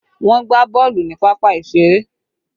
Wọn gbá boolu ni pápá ìṣeré